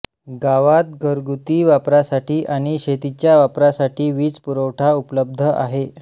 गावात घरगुती वापरासाठी आणि शेतीच्या वापरासाठी वीज पुरवठा उपलब्ध आहे